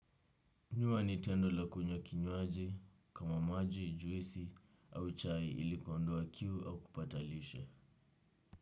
Nyua ni tendo la kunya kinywaji kama maji, juisi au chai ili kuondoa kiu au kupata lishe.